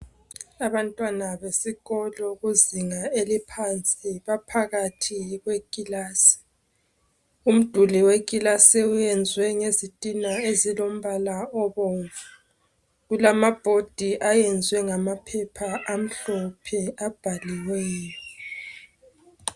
Abantwana besikolo kuzinga eliphansi, baphakathi kweekilasi. Umduli wekilsi uyenzwe ngezithina ezilombala obomvu. Kulumabhodi ayenzwe ngamaphepha amhlophe abhaliweyo.